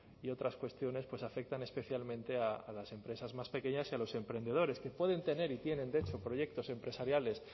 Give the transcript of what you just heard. y otras cuestiones pues afectan especialmente a las empresas más pequeñas y a los emprendedores que pueden tener y tienen de hecho proyectos empresariales